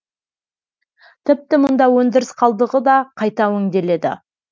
тіпті мұнда өндіріс қалдығы да қайта өңделеді